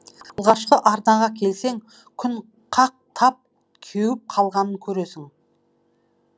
алғашқы арнаға келсең күн қақтап кеуіп қалғанын көресің